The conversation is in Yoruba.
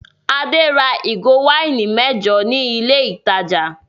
Adé ra ìgò wáìnì mẹ́jọ ní ilé-ìtajà.